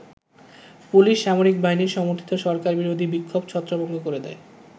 Police সামরিক বাহিনী সমর্থিত সরকার বিরোধী বিক্ষোভ ছত্রভঙ্গ করে দেয়।